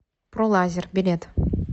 пролазер билет